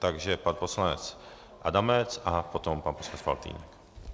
Takže pan poslanec Adamec a potom pan poslanec Faltýnek.